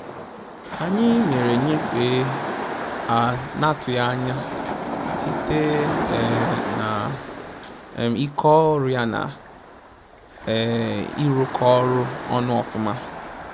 Anyị mere nnyefe a na atụghị anya site um na um ike ọrụ ya na um ịrụkọ ọrụ ọnụ ofụma